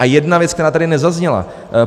A jedna věc, která tady nezazněla.